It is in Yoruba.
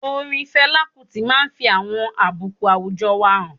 Orin Fela Kuti máa n fi àwọn àbùkù àwùjọ wa han